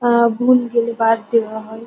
আআআ ভুল গেলে বাদ দেওয়া হয়।